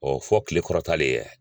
Ɔɔ fɔ Kile kɔrɔtalen ye.